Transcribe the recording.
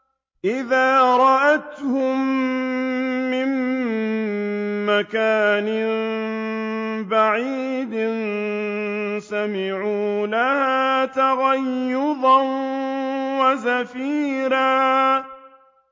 إِذَا رَأَتْهُم مِّن مَّكَانٍ بَعِيدٍ سَمِعُوا لَهَا تَغَيُّظًا وَزَفِيرًا